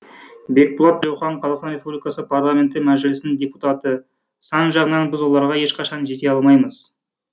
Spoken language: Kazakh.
бекболат тілеухан қазақстан республикасының парламенті мәжілісінің депутаты сан жағынан біз оларға ешқашан жете алмаймыз